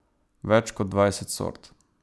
Več kot dvajset sort.